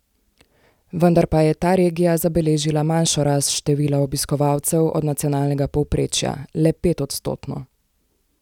Vendar pa je ta regija zabeležila manjšo rast števila obiskovalcev od nacionalnega povprečja, le petodstotno.